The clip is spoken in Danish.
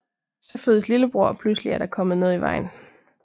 Så fødes lillebror og pludselig er der kommet noget i vejen